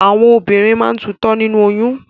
Àwọn obìnrin míràn máa ń tutọ́ nínú oyún.